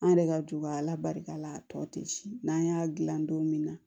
An yɛrɛ ka duba ala barika la a tɔ tɛ n'an y'a dilan don min na